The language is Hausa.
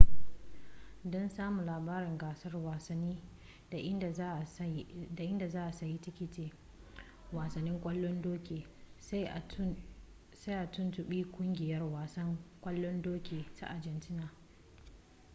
don samun labaran gasar wasanni da inda za a sayi tikitin wasanni kwallon doki sai a tuntubi kungiyar wasan kwallon doki ta argentina